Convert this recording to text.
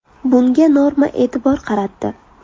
Bunga Norma e’tibor qaratdi .